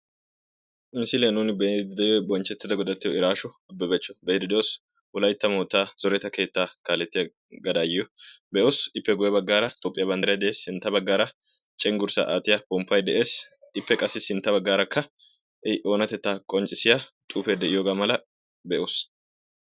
Misiliya nuuni be'iddi de'iyoo bonchchettida godattiyo Irasho Ababacho be'iddi doos, wolaytta moottaa zoretta keetta kaalettiya gadaayiyo be'os, ippe guyye baggaara Toophphiyaa banddiray de'ees. sintta baggaara cenggurssa aattiya pomppay de'ees. ippe qassi sintta bagarakka i oonattetta qonccissiyaa xuufe de'iyooga malaa be'oos.